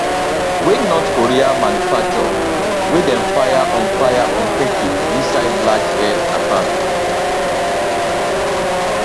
wey north korea manufacture wey dem fire on fire on kharkiv inside large air attack